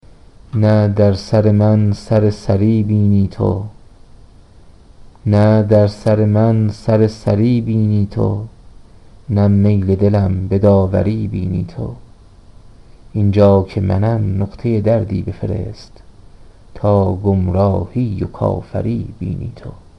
نه در سر من سرسری بینی تو نه میل دلم به داوری بینی تو اینجا که منم نقطه دردی بفرست تا گمراهی و کافری بینی تو